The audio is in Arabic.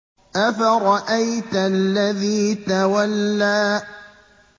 أَفَرَأَيْتَ الَّذِي تَوَلَّىٰ